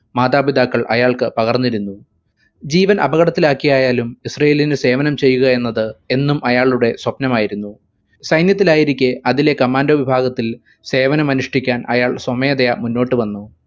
മാതാപിതാക്കൾ അയാൾക്ക് പകർന്നിരുന്നു. ജീവൻ അപകടത്തിലാക്കിയായാലും ഇസ്രായേലിനു സേവനം ചെയ്യുക എന്നത് എന്നും അയാളുടെ സ്വപ്നം ആയിരുന്നു. സൈന്യത്തിലായിരിക്കെ അതിലെ commando വിഭാഗത്തിൽ സേവനം അനുഷ്ഠിക്കാൻ അയാൾ സ്വമേധയാ മുന്നോട്ടു വന്നു